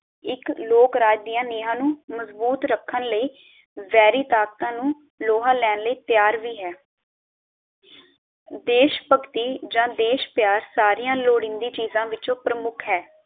ਇਕ ਲੋਕ ਰਾਜ ਦੀਆਂ ਨੀਵਾਂ ਨੂੰ ਮਜ਼ਬੂਤ ਰੱਖਣ ਲਈ ਵੈਰੀ ਤਾਕਤਾਂ ਨੂੰ ਲੋਹਾ ਲੈਣ ਲਈ ਤੈਯਾਰ ਵੀ ਹੈ ਦੇਸ਼ਭਕਤੀ ਜਾ ਦੇਸ਼ਪਯਾਰ ਸਾਰੀ ਲੋੜੀਂਦੀ ਚੀਜਾਂ ਵਿਚੋਂ ਪ੍ਰਮੁੱਖ ਹੈ